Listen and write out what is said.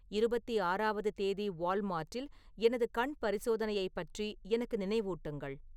இருபத்தி ஆறாவது தேதி வால்மார்ட்டில் எனது கண் பரிசோதனையைப் பற்றி எனக்கு நினைவூட்டுங்கள்